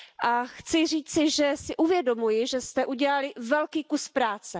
A chci říci, že si uvědomuji, že jste udělali velký kus práce.